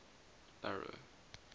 barrow